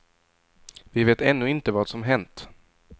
Vi vet ännu inte vad som hänt.